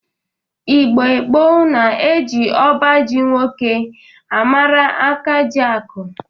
Igbo gboo na-eje ọba ji nwoke amara akajiakụ.